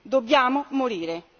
Dobbiamo morire.